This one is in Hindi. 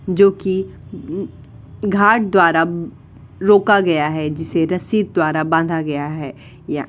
जो कि उ घाट द्वारा रोका गया है जिसे रस्सी द्वारा बांधा गया है। या --